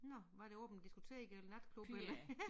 Nåh hvad der åbent det diskotek eller natklub eller